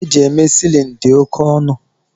Ihe e ji eme silini di oke onu